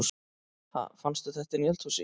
Ha! Fannstu þetta inni í eldhúsi?